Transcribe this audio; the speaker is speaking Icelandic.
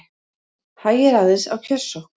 Hægir aðeins á kjörsókn